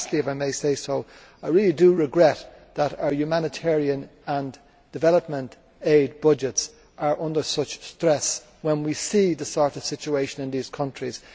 Lastly, if I may say so, I really do regret that our humanitarian and development aid budgets are under such stress when we see the sort of situation in these countries.